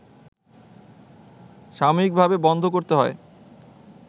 সাময়িকভাবে বন্ধ করতে হয়